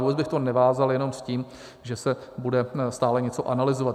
Vůbec bych to nevázal jenom s tím, že se bude stále něco analyzovat.